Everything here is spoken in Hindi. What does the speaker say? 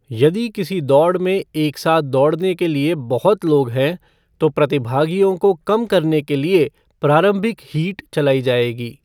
यदि किसी दौड़ में एक साथ दौड़ने के लिए बहुत लोग हैं, तो प्रतिभागियों को कम करने के लिए प्रारंभिक हीट चलाई जाएगी।